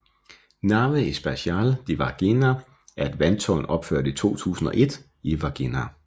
Nave Espacial de Varginha er et vandtårn opført i 2001 i Varginha